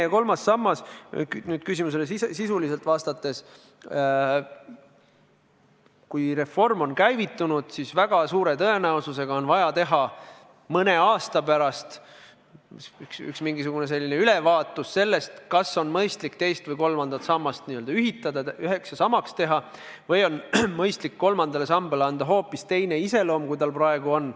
Kui nüüd küsimusele sisuliselt vastata, siis peale reformi käivitumist on väga suure tõenäosusega vaja teha mõne aasta pärast mingisugune ülevaatus, kas on mõistlik teine ja kolmas sammas üheks teha või on mõistlik kolmandale sambale anda hoopis teine iseloom, kui tal praegu on.